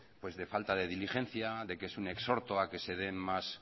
de falta de diligencia de que es un exhorto a que se dé más